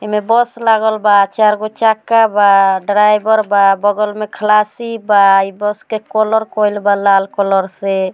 इमें बस लागल बा चार गो चक्का बा ड्राइवर बा बगल में खलासी बा ई बस के कलर कैल बा लाल कलर से।